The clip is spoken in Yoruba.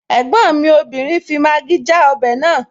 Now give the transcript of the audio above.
Ẹ̀gbọ́n mi obìnrin fi Maggi já ọbẹ̀ naa